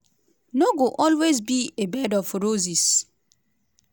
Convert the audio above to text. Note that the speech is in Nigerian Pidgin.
no go always be a bed of roses.